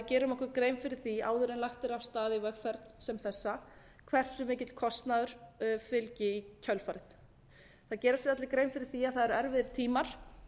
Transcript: gerum okkur grein fyrir því áður en lagt er af stað í vegferð sem þessa hversu mikill kostnaður fylgi í kjölfarið það gera sér allir grein fyrir því að það eru erfiðir tímar